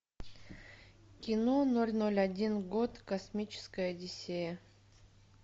кино ноль ноль один год космическая одиссея